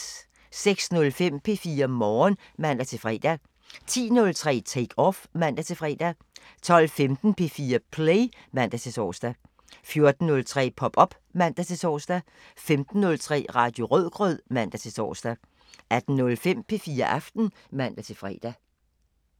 06:05: P4 Morgen (man-fre) 10:03: Take Off (man-fre) 12:15: P4 Play (man-tor) 14:03: Pop op (man-tor) 15:03: Radio Rødgrød (man-tor) 18:05: P4 Aften (man-fre)